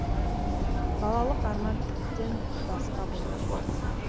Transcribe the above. балалық арман тіптен басқа болған